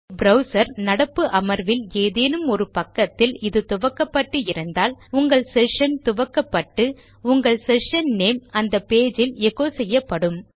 browser நடப்பு அமர்வில் ஏதேனும் ஒரு பக்கத்தில் இது துவக்கப்பட்டு இருந்தால் உங்கள் செஷன் துவக்கப்பட்டு உங்கள் செஷன் நேம் அந்த பேஜ் இல் எச்சோ செய்யப்படும்